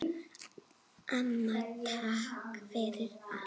Amma, takk fyrir allt.